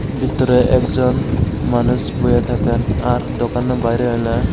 ভিতরে একজন মানুষ বইয়া থাকেন আর দোকানে বাইরে হলো--